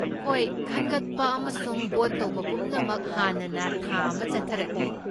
ꯍꯣꯏ, ꯈꯟꯒꯠꯄ ꯑꯃꯁꯨꯡ ꯚꯣꯠ ꯇꯧꯕ ꯄꯨꯝꯅꯃꯛ ꯍꯥꯟꯅꯅ ꯊꯥ ꯑꯃ ꯆꯠꯊꯔꯛꯂꯤ꯫